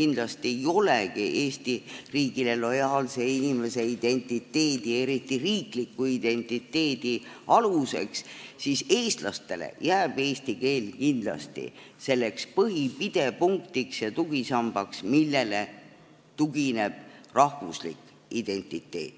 kindlasti ei olegi – Eesti riigile lojaalse inimese identiteedi, eriti riikliku identiteedi aluseks, siis eestlastele jääb eesti keel kindlasti selleks põhiliseks pidepunktiks ja tugisambaks, millele tugineb rahvuslik identiteet.